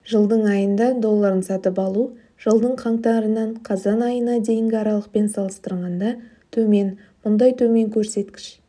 жылдың айында долларын сатып алу жылдың қаңтарынан қазан айына дейінгі аралықпен салыстырғанда төмен мұндай төмен көрсеткіш